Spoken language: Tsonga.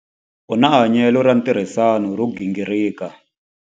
U na hanyelo ra ntirhisano ro gingirika.